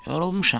Yorulmuşam.